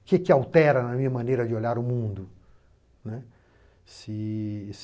O que que altera na minha maneira de olhar o mundo, né? Se